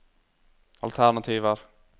alternativer